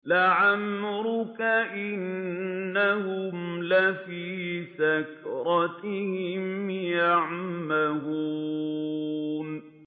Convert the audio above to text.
لَعَمْرُكَ إِنَّهُمْ لَفِي سَكْرَتِهِمْ يَعْمَهُونَ